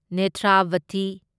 Netravathi